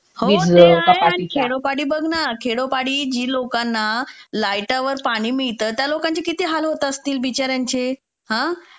हो ते आहे आणि खेडोपाडी बघ ना जी लोकांना ना, खेडोपाडी जी लोकांना लाईटवर पाणी मिळतं त्या लोकांचे किती हाल होत असतील बिचार्यांचे.